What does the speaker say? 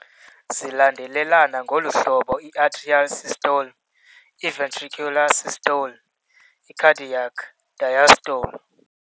Zilandelelana ngolu hlobo- i-atrial systole → i-ventricular systole → i-cardiac diastole.